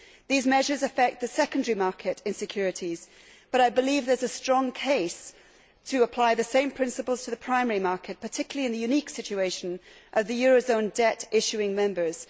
These measures affect the secondary market in securities, but I believe there is a strong case to apply the same principles to the primary market, particularly in the unique situation of the eurozone debt issuing members.